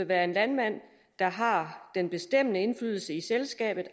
være en landmand der har den bestemmende indflydelse i selskabet